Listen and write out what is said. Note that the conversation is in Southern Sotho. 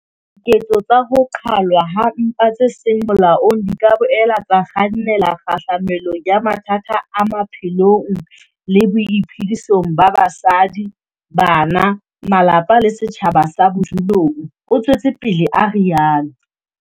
"Diketso tsa ho qhalwa ha mpa tse seng molaong di ka boela tsa kgannela kgahlamelong ya mathata a maphelong le boiphedisong ba basadi, bana, malapa le setjhaba sa bodulong," o tswetse pele a rialo.